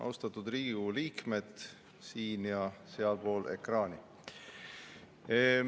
Austatud Riigikogu liikmed siin- ja sealpool ekraani!